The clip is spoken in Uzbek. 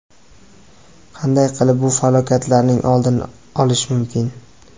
Qanday qilib bu falokatlarning oldini olish mumkin?